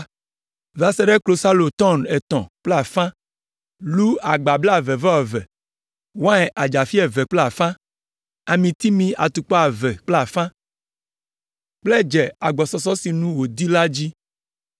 va se ɖe klosalo “tɔn” etɔ̃ kple afã, lu agba blaeve-vɔ-eve, wain adzafi eve kple afã, amitimi atukpa eve kple afã kple dze agbɔsɔsɔ si sinu wòdi la dzi.